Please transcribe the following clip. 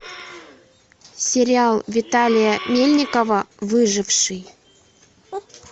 сериал виталия мельникова выживший